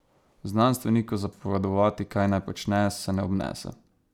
Znanstveniku zapovedovati, kaj naj počne, se ne obnese.